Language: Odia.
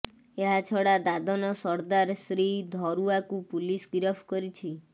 ଏହାଛଡ଼ା ଦାଦନ ସର୍ଦ୍ଦାର ଶ୍ରୀ ଧରୁଆକୁ ପୁଲିସ ଗିରଫ କରିଛି